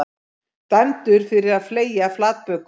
Dæmdur fyrir að fleygja flatböku